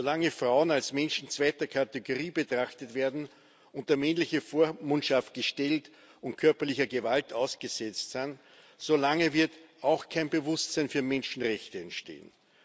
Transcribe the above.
Solange Frauen als Menschen zweiter Kategorie betrachtet werden, unter männliche Vormundschaft gestellt und körperlicher Gewalt ausgesetzt sind, solange wird auch kein Bewusstsein für Menschenrechte entstehen.